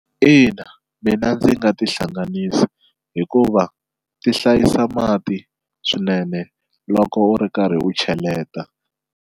Ina mina ndzi nga tihlanganisa hikuva ti hlayisa mati swinene loko u ri karhi u cheleta.